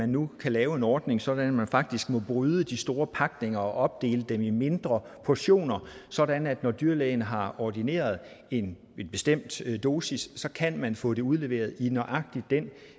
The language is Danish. nu kan laves en ordning så man faktisk må bryde de store pakninger og opdele dem i mindre portioner sådan at når dyrlægen har ordineret en bestemt dosis så kan man få det udleveret i nøjagtig den